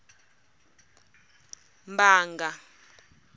mbanga